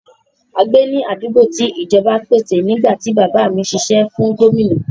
A gbé ní àdúgbò tí ìjọba pèsè nígbà tí bàbá mí ń sisẹ́ fún Gómìnà.